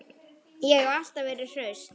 Ég hef alltaf verið hraust.